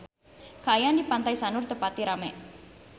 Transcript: Kaayaan di Pantai Sanur teu pati rame